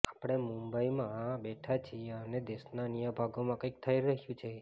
આપણે મુંબઈમાં બેઠા છીએ અને દેશના અન્ય ભાગોમાં કંઇક થઈ રહ્યું છે